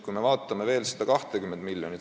Vaatame veel seda 20 miljonit.